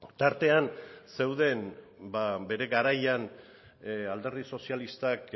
tartean zeuden bere garaian alderdi sozialistak